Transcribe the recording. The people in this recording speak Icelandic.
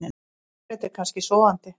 Margrét er kannski sofandi.